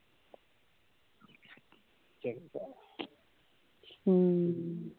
ਹੁੰ